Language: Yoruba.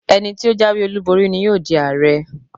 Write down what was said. Ẹni tí ó jáwé olúborí ni yóò di Ààrẹ.